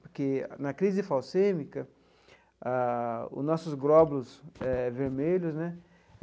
Porque na crise falcêmica ah, os nossos glóbulos vermelhos, né?